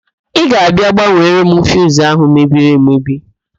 Ị ga-abịa gbanwere m fiuzu ahụ mebiri emebi?